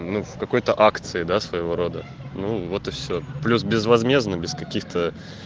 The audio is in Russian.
ну в какой-то акции да своего рода ну вот и всё плюс безвозмездно без каких-то